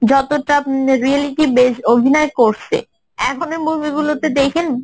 যতটা reality base অভিনয় করছে এখন এই movie গুলোতে দেখেন